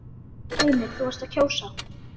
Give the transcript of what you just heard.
Heimir: Þú varst að kjósa?